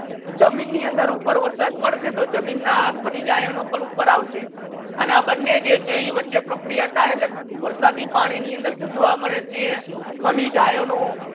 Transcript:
જમીન ની અંદર ઉપર વરસાદ પડશે તો જમીન ના ખનીજ આયનો પણ ઉપર આવશે આના બને જે છે વચ્છે પ્રક્રિયા હતા એટલે વરસાદી પાણી ની અંદર શુ જોવા મલે છે